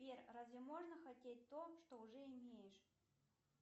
сбер разве можно хотеть то что уже имеешь